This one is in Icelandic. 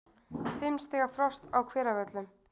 Fimm stiga frost á Hveravöllum